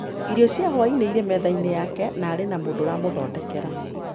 Irio cia hwaĩ-inĩ irĩ metha-inĩ yake, na arĩ na mũndũ ũramũthondekera.